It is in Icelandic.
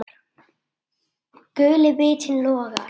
Guli vitinn logar.